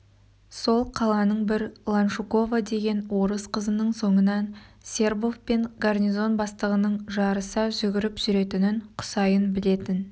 сол қаланын бір ланшукова деген орыс қызының соңынан сербов пен гарнизон бастығынын жарыса жүгіріп жүретінін құсайын білетін